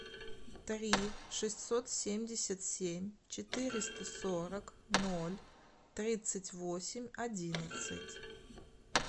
три шестьсот семьдесят семь четыреста сорок ноль тридцать восемь одиннадцать